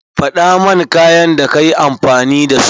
Faɗaman kayan da kayi amfani da su.